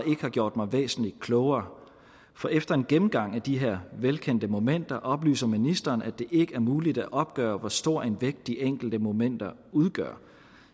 har gjort mig væsentlig klogere for efter en gennemgang af de her velkendte momenter oplyser ministeren at det ikke er muligt at opgøre hvor stor en vægt de enkelte momenter udgør